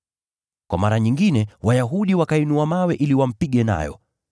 Kwa mara nyingine Wayahudi wakainua mawe ili wampige nayo,